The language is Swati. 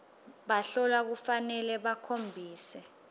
bahlolwa kufanele bakhombise